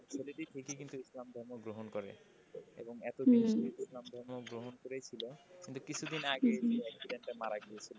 ছেলেটি ইসলাম ধর্ম গ্রহণ করে এবং এতদিন যেহেতু ইসলাম ধর্ম গ্রহণ করেইছিল। কিন্তু কিছুদিন আগে সে accident এ মারা গিয়েছিল।